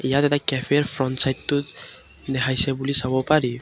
ইয়াত এটা কেফেৰ ফ্ৰণ্ট চাইডটো দেখাইছে বুলি চাব পাৰি।